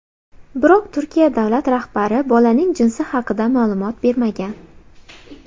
Biroq Turkiya davlat rahbari bolaning jinsi haqida ma’lumot bermagan.